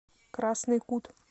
красный кут